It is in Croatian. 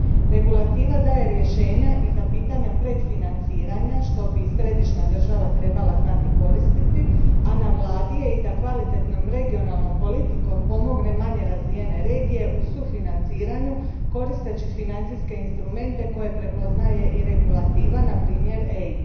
Regulativa daje rješenja i za pitanja predfinanciranja, što bi središnja država trebala znati koristiti, a na vladi je i da kvalitetnom regionalnom politikom pomogne manje razvijene regije u sufinanciranju, koristeći financijske instrumente koje prepoznaje i Regulativa, naprimjer EIB.